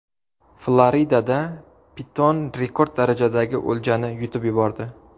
Floridada piton rekord darajadagi o‘ljani yutib yubordi .